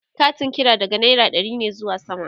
Katin kira daga naira ɗari ne zuwa sama